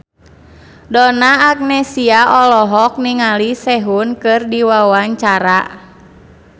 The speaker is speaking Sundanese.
Donna Agnesia olohok ningali Sehun keur diwawancara